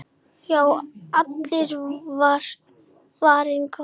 Já, allur var varinn góður!